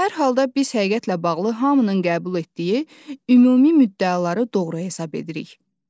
Hər halda biz həqiqətlə bağlı hamının qəbul etdiyi ümumi müddəaları doğru hesab edirik.